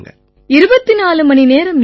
24 மணிநேரம்யா